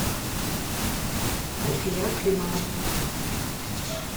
альфия климова